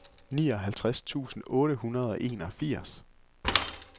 nioghalvtreds tusind otte hundrede og enogfirs